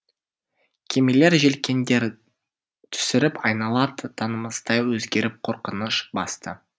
кемелер желкендерін түсіріп айнала танымастай өзгеріп қорқыныш басты